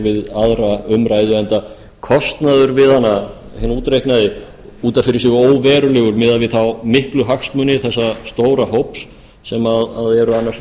aðra umræðu enda kostnaður við hana út af fyrir sig óverulegur miðað við þá miklu hagsmuni þessa stóra hóps sem eru annars